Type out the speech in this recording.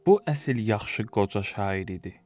Bu əsl yaxşı qoca şair idi.